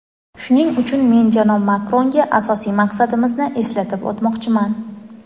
Shuning uchun men janob Makronga asosiy maqsadimizni eslatib o‘tmoqchiman.